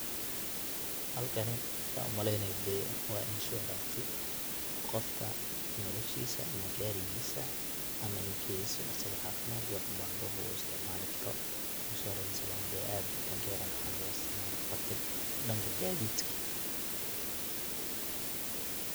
halkani san umaleynayo dee wa insurance qofka noloshiisa ama gaarigisa ama incase uu asaga caafimad iyo wax ubahdo wuu isticmaali karo inshuwaransiga na dee aad wadankeena waxa loga isticmaala qaabka dhanka gadidka